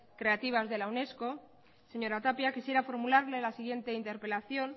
creativas de la unesco señora tapia quisiera formularle la siguiente interpelación